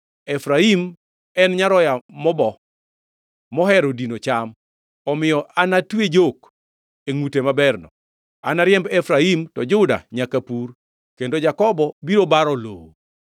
Efraim en nyaroya mobo mohero dino cham; omiyo anatwe jok e ngʼute maberno. Anariemb Efraim, to Juda nyaka pur, kendo Jakobo biro baro lowo.